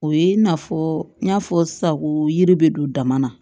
O ye i n'a fɔ n y'a fɔ sisan ko yiri bɛ don dama na